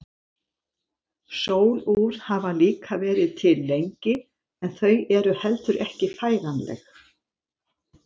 Sólúr hafa líka verið til lengi en þau eru heldur ekki færanleg.